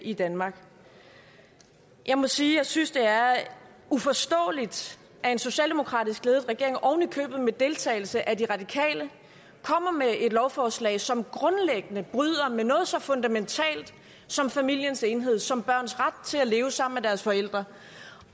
i danmark jeg må sige at jeg synes det er uforståeligt at en socialdemokratisk ledet regering oven i købet med deltagelse af de radikale kommer med et lovforslag som grundlæggende bryder med noget så fundamentalt som familiens enhed som børns ret til at leve sammen med deres forældre